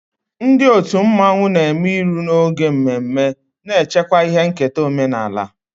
Ndị otu mmanwụ na-eme iru n'oge mmemme, na-echekwa ihe nketa omenala.